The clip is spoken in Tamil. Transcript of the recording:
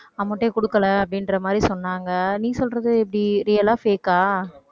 amount ஏ கொடுக்கலை அப்படின்ற மாதிரி சொன்னாங்க. நீ சொல்றது இப்படி real ஆ fake ஆ